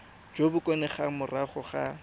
jo bo kgonegang morago ga